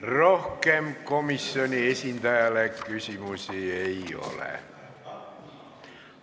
Rohkem komisjoni esindajale küsimusi ei ole.